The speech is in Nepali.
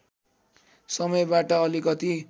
समयबाट अलिकति